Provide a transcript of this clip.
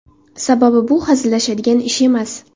Sababi bu hazillashadigan ish emas.